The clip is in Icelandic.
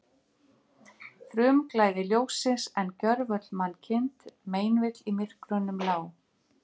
Frumglæði ljóssins, en gjörvöll mannkind meinvill í myrkrunum lá.